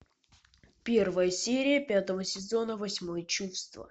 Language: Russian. первая серия пятого сезона восьмое чувство